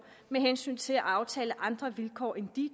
med hensyn til at aftale andre vilkår end